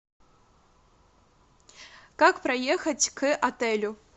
как проехать к отелю